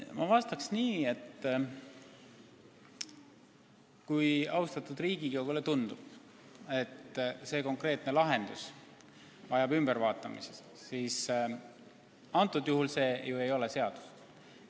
Ma vastan nii, et kui austatud Riigikogule tundub, et konkreetne lahendus vajab ümbertegemist, siis meil ei ole ju veel tegu seadusega.